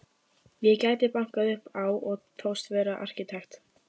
Ég gæti bankað upp á og þóst vera arkitekt.